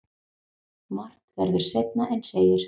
Margt verður seinna en segir.